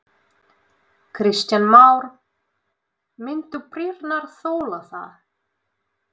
Kristján Már: Myndu brýrnar þola það?